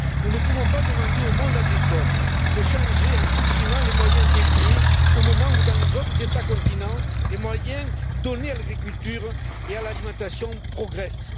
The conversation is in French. Nous ne pouvons pas demander au monde agricole de changer en supprimant les moyens dédiés au moment où, dans les autres États continents, les moyens donnés à l'agriculture et à l'alimentation progressent.